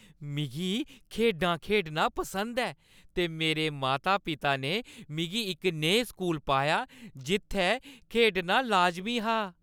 मिगी खेढां खेढना पसंद ऐ ते मेरे माता-पिता ने मिगी इक नेहे स्कूल पाया जित्थै खेढना लाजमी हा।